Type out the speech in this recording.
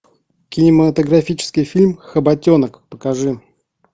кинематографический фильм хоботенок покажи